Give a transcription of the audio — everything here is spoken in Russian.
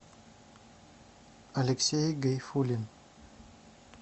алексей гайфуллин